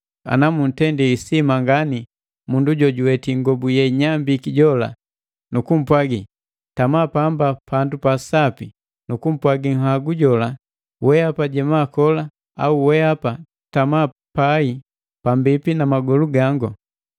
Ana muntendi isima ngani mundu jojuweti ingobu yeinyambiki jola nu kumpwagi: “Tama pamba pandu pasapi,” nu kumpwagi nhagu jola: “Wehapa jema kola,” au “Wehapa tama pai pambipi na magolu gangu.”